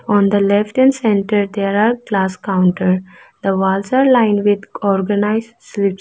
on the left and centre there are glass counter the walls are line with organised slives .